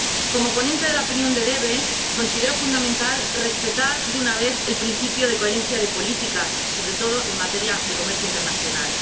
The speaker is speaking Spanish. Como ponente de la opinión de la Comisión DEVE considero fundamental que se respete, de una vez, el principio de coherencia de políticas, sobre todo en materia de comercio internacional.